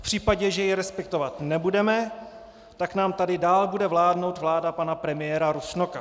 V případě, že ji respektovat nebudeme, tak nám tady dál bude vládnout vláda pana premiéra Rusnoka.